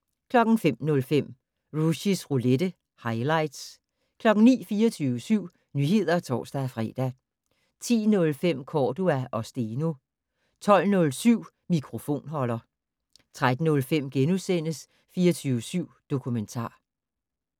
05:05: Rushys roulette - highlights 09:00: 24syv Nyheder (tor-fre) 10:05: Cordua & Steno 12:07: Mikrofonholder 13:05: 24syv Dokumentar *